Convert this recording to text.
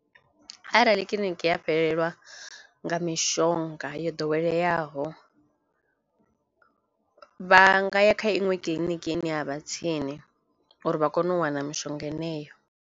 Arali kiḽiniki ya fhelelwa nga mishonga yo ḓoweleaho vha nga ya kha iṅwe kiḽiniki ine ya vha tsini uri vha kone u wana mishonga yeneyo.